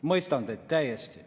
Mõistan teid täiesti.